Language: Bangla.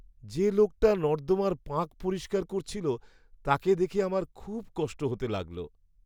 যে লোকটা নর্দমার পাঁক পরিষ্কার করছিল, তাকে দেখে আমার খুব কষ্ট হতে লাগল।